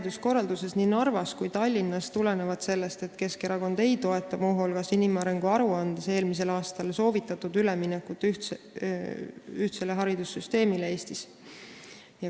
Kas arengud nii Narva kui ka Tallinna hariduskorralduses tulenevad sellest, et Keskerakond ei toeta muu hulgas inimarengu aruandes eelmisel aastal soovitatud üleminekut ühtsele haridussüsteemile Eestis?